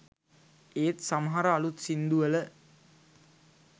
ඒත් සමහර අළුත් සින්දු වල